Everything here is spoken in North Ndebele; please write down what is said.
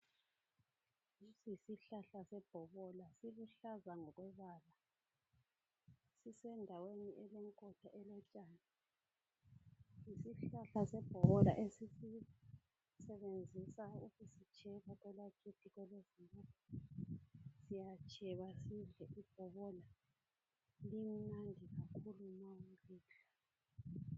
Lesi yisihlahla sebhobola siluhlaza ngokombala sisendaweni elenkotha lotshani, yisihlahla sebhola esisebenzisa ukusitsheba kwelakithi siyatsheba sidle ibhobola limnandi kakhulu ma ulidla.